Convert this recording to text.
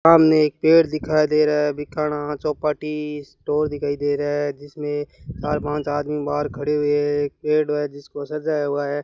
सामने एक पेड़ दिखाई दे रहा है भिखाड़ा चौपाटी स्टोर दिखाई दे रहा है जिसमें चार पांच आदमी बाहर खड़े हुए एक पेड़ है जिसको सजाया हुआ है।